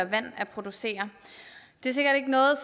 vand at producere det er sikkert ikke noget